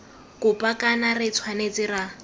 kopa kana re tshwanetse ra